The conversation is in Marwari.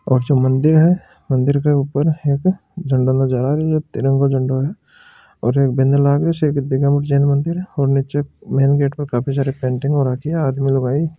और जो मन्दिर है मन्दिर के ऊपर एक झंडों नज़र आरो छ तिरंगों झंडों है और एक बैनर लाग रो है सा कु एक जेन मन्दिर है और नीच मेन गेट पर काफ़ी सारी पेंटिंग हो रखी है आदमी लुगाई --